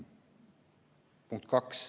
Punkt kaks.